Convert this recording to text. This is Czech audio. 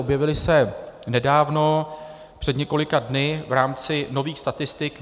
Objevila se nedávno před několika dny v rámci nových statistik.